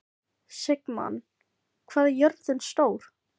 Sigmann, hvað er jörðin stór?